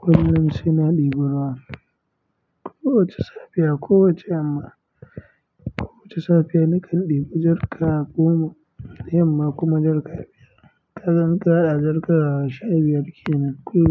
Kullum sai na ɗebi ruwa. Kowacce safiya, kowacce yamma. Kowacce safiya, nakan ɗebi jarka goma yamma kuma jarka biyar. Kaga in ka haɗa jarka sha biyar kenan kullum.